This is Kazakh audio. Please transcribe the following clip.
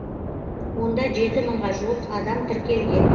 онда жеті мыңға жуық адам тіркелген